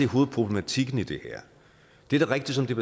hovedproblematikken i det her det er da rigtigt som det